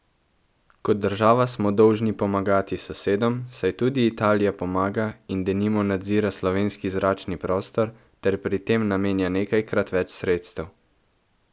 Kot država smo dolžni pomagati sosedom, saj tudi Italija pomaga in denimo nadzira slovenski zračni prostor ter pri tem namenja nekajkrat več sredstev.